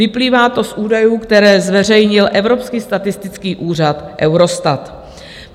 Vyplývá to z údajů, které zveřejnil evropský statistický úřad Eurostat.